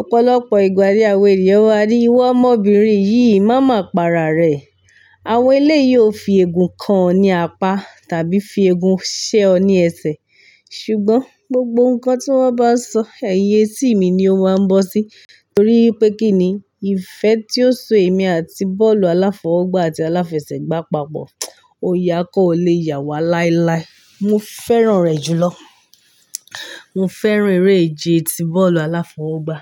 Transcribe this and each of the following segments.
Ọ̀pọ̀lọpọ̀ ìgbà ni àwọn ènìyàn ma ní iwo ọmọbìnrin yìí má ma para rẹ̀. Àwọn eléyi yóò fi ègún kan ọ ní apá tàbí fi ègún ṣẹ ọ ní ẹsẹ̀. Ṣùgbọ́n gbogbo nǹkan tí wọ́n bá sọ ẹ̀yin etí mi ni ó máa ń bọ́ sí torí wípé kín ni ìfẹ́ tí ó so èmi àti bọ́ọ̀lù aláfọwọ́gbá àti aláfẹsẹ̀gbá papọ̀, o yá kọ́ o le yà wá láíláí. Mo fẹ́ràn rẹ̀ jù lọ. Mo fẹ́ràn eré ìje ti bọ́ọ̀lù aláfọwọ́gbá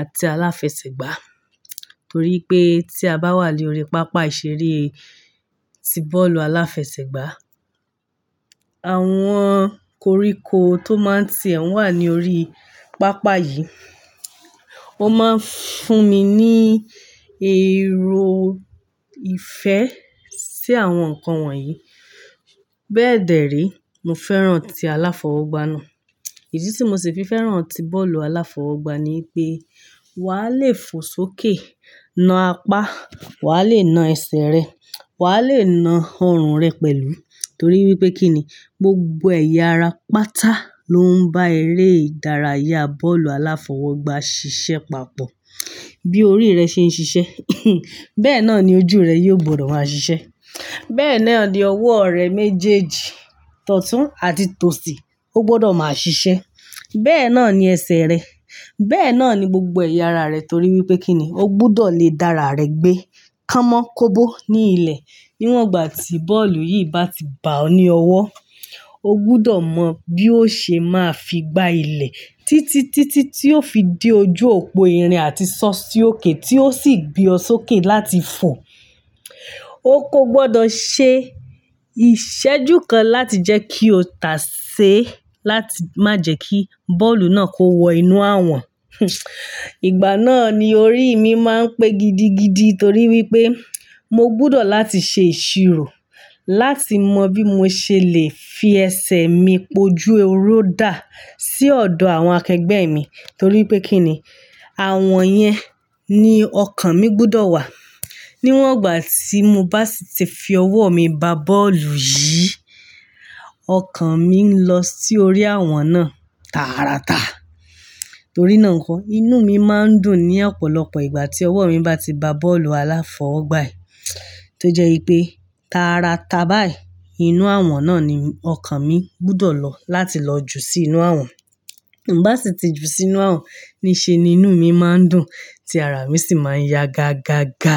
àti aláfẹsẹ̀gbá torí pé tí a bá wà lórí pápá ìṣeré ti bọ́ọ̀lù aláfẹsẹ̀gbá, àwọn koríko tó máa ń tì ẹ́ wà ní orí pápá yìí. Ó máa ń fún mi ní èrò ìfẹ́ sí àwọn nǹkan wọ̀nyí. Bẹ́ẹ̀dẹ̀rẹ́ mo fẹ́ràn ti aláfọwọ́gbá náà. Idi tí mo sì fi fẹ́ràn ti bọ́ọ̀lù aláfọwọ́gbá ni pé wà á le fo sókè, na apá, wà á le na ẹsẹ̀ rẹ, wà á le na ọrùn rẹ pẹ̀lú torí wípé kín ni gbogbo ẹ̀yà ara pátá ló ń bá eré ìdárayá bọ́ọ̀lù aláfọwọ́gbá ṣiṣẹ́ papọ̀. Bí orí rẹ ṣe ń ṣiṣẹ́, bẹ́ẹ̀ náà ni ojú rẹ yóò gbọdọ̀ máa ṣiṣẹ́. Bẹ́ẹ̀ náà ni ọwọ́ rẹ méjèèjì, tọtún àti tòsí ó gbọdọ̀ máa ṣiṣẹ́. Bẹ́ẹ̀ náà ni ẹsẹ̀ rẹ. Bẹ́ẹ̀ náà ni gbogbo ẹ̀yà ara rẹ torí wípé kín ni ó gbọdọ̀ le dá ara rẹ gbé kámọ́ kóbó ní ilẹ̀. Níwọ̀n ìgbà tí bọ́ọ̀lù yìí bá ti ba ọ ní ọwọ́, ó gbọdọ̀ mọ bí ó ṣe máa fi gbá ilẹ̀ títí, títí tí ó fi dé ojú òpó irin àti sọ́ọ̀sì ókè tí ó sì gbé ọ sókè láti fo. Ó kó gbọdọ̀ ṣe ìṣẹ́jú kan láti jẹ́ kí ó tà sé láti má jẹ́ kí bọ́ọ̀lù náà kó wọ inú àwọ̀n. Ìgbà náà ni orí mi máa ń pé gidigidi torí wípé mo gbọdọ̀ láti ṣe ìṣirò láti mọ bí mo ṣe lè fi ẹsẹ̀ mi po ju ehoro dà sí ọ̀dọ̀ àwọn akẹgbẹ́ mi torí wípé kín ni àwọn yẹn ni ọkàn mi gbọdọ̀ wà. Níwọ̀n ìgbà tí mo bá sì ti fi ọwọ́ mi ba bọ́ọ̀lù yìí, ọkàn mi ń lọ sí orí àwọn náà tàratà torí náà kọ́ inú mi máa ń dùn ní ọ̀pọ̀lọpọ̀ ìgbà tí ọwọ́ mi bá ti ba bọ́ọ̀lù aláfọwọ́gbá yìí tó jẹ́ pé tàratà báyìí inú àwọn náà ni ọkàn mi gbọdọ̀ lọ láti lọ jù sí inú àwọn. Bá sì ti ju sínú àwọn níṣe ni inú mi máa ń dùn tí ara mi sì máa ń yá gágágá.